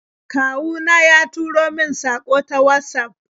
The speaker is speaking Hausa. Kawu na ya turo min saƙo ta Watsaf.